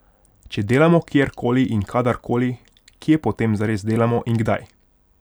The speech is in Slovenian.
Če delamo kjer koli in kadar koli, kje potem zares delamo in kdaj?